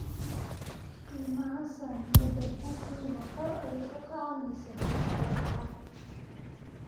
Qiimaha saamiyada Google ma kor ayuu u kacay mise hoos buu u kacay?